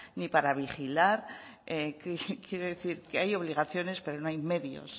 ni para vigilar quiero decir que hay obligaciones pero no hay medios